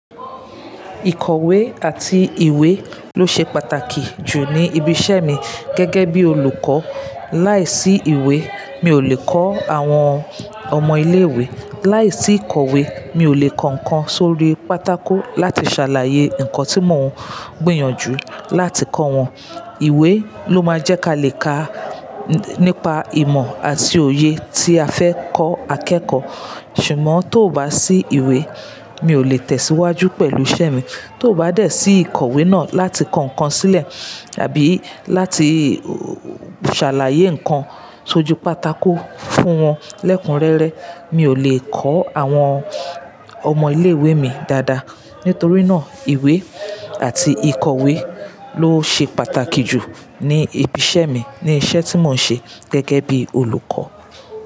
Ìkọ̀wé àti ìwé ló ṣe pàtàkì jù ní ibi iṣẹ́ mi gẹ́gẹ́ bí olùkọ́. Láìsí ìwé, mi ò lè kọ́ àwọn ọmọ ilé ìwé. Láìsí ìkọ̀wé, mi ò lè kọ nkán sórí pátákó láti ṣàlàyé nǹkan tí mò ń gbìyànjú láti kọ wọn. Ìwé ló máa jẹ́ kí a lè ka nípa ìmọ̀ àti òye tí a fẹ́ kọ́ akẹ́kọ̀ọ́. Ṣùgbọ́n tó bá sí ìwé, mi ò lè tẹ̀síwájú pẹ̀lú iṣẹ́ mi. Tó bá dẹ̀ sí ìkọ̀wé náà láti kọ nkán sílẹ̀ tàbí láti ṣàlàyé ǹkan sójú pátákó fún wọn lẹ́kunrẹ́rẹ́, mi ò lè kọ́ àwọn ọmọ ilé ìwé mi dáadáa. Nítorí náà, ìwé àti ìkọ̀wé ló ṣe pàtàkì jù ní ibi iṣẹ́ mi, ní iṣẹ́ tí mò ń ṣe gẹ́gẹ́ bí olùkọ́.